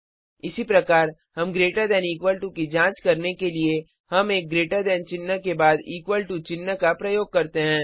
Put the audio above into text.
इसी प्रकार हम ग्रेटर दैन और इक्वल टू की जांच करने के लिए हम एक ग्रेटर दैन चिन्ह के बाद एक इक्वल टू चिन्ह का प्रयोग करते हैं